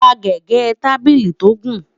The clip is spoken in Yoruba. rà gẹgẹ tábìlì tó gùn